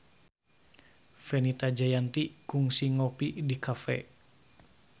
Fenita Jayanti kungsi ngopi di cafe